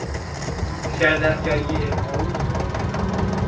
Sérðu ekki að ég er ósofin á túr.